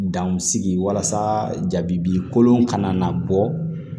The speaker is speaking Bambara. Dan sigi walasa jabikolon ka na bɔ